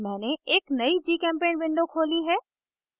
मैंने एक नयी gchempaint window खोली है